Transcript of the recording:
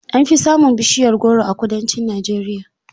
An fi samun bishiyar goro a kudancin Najeriya.